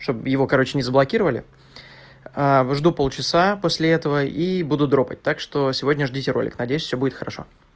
чтоб его короче не заблокировали жду полчаса после этого и буду дропать так что сегодня ждите ролик надеюсь всё будет хорошо